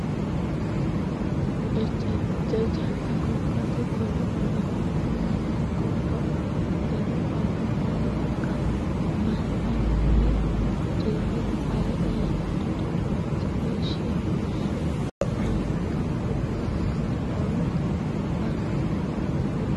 Ejjeeticha janna gobbate golo ollamancho manna gobba qafidhino ale malaga manna woro cirrete ale eella dode waajishshishe fushe hunannoha gobbatenni olu fara.